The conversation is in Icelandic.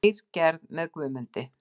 Leirgerð með Guðmundi